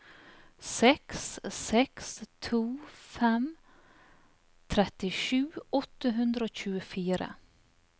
seks seks to fem trettisju åtte hundre og tjuefire